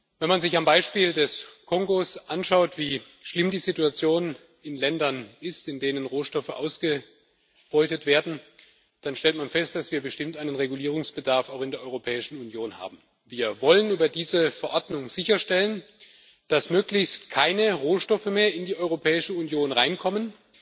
Wenn man sich am Beispiel des Kongos anschaut, wie schlimm die Situation in Ländern ist, in denen Rohstoffe ausgebeutet werden, dann stellt man fest, dass wir bestimmt auch in der Europäischen Union Regulierungsbedarf haben. Wir wollen über diese Verordnung sicherstellen, dass möglichst keine Rohstoffe mehr in die Europäische Union hereinkommen,